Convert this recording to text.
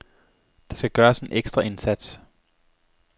Der skal gøres en ekstra indsats.